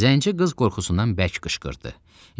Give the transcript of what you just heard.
Zəngi qız qorxusundan bərk qışqırdı.